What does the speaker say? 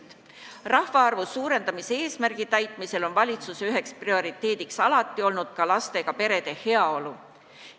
Et täita rahvaarvu suurendamise eesmärki, on valitsuse üheks prioriteediks alati olnud ka lastega perede heaolu.